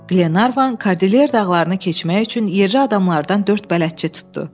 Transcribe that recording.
Qlenarvan Kardilyer dağlarını keçmək üçün yerli adamlardan dörd bələdçi tutdu.